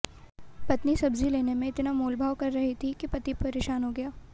पत्नी सब्जी लेने में इतना मोलभाव कर रही थी कि पति परेशान हो गया